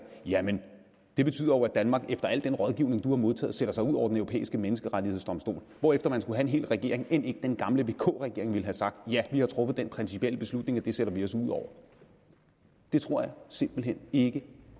jamen det betyder jo at danmark efter al den rådgivning du har modtaget sætter sig ud over den europæiske menneskerettighedsdomstol hvorefter ingen regering end ikke den gamle vk regering ville have sagt ja vi har truffet den principielle beslutning at det sætter vi os ud over det tror jeg simpelt hen ikke